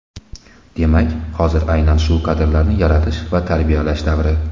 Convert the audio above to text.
Demak hozir aynan shu kadrlarni yaratish va tarbiyalash davri.